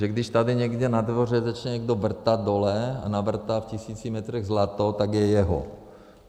Takže když tady někde na dvoře začne někdo vrtat dole a navrtá v tisíci metrech zlato, tak je jeho.